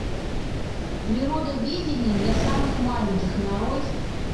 природоведение для самых маленьких нарой